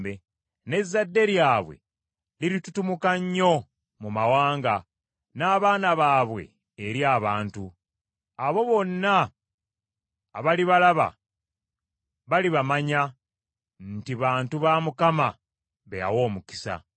N’ezzadde lyabwe liritutumuka nnyo mu mawanga n’abaana baabwe eri abantu. Abo bonna abalibalaba balibamanya, nti bantu Mukama be yawa omukisa.”